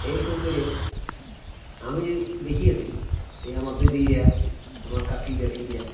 এরকম করে আমি দেখিয়েছি এ আমার দিদিরা আমার কাকি জেঠিরা